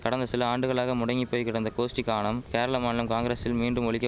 கடந்த சில ஆண்டுகளாக முடங்கி போய் கிடந்த கோஷ்டி கானம் கேரள மாநில காங்கிரசில் மீண்டும் ஒலிக்க